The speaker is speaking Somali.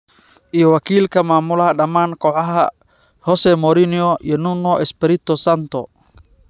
iyo wakiilka maamulaha dhammaan kooxaha - Jose Mourinho iyo Nuno Espirito Santo.